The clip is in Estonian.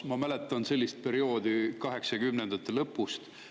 Ma mäletan sellist perioodi 80-ndate lõpust.